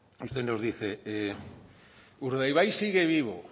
usted nos dice urdaibai sigue vivo